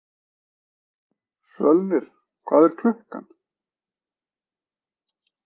Svölnir, hvað er klukkan?